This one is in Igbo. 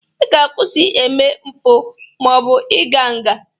Ị ga-akwụsị eme mpụ ma ọ bụ ị ga nga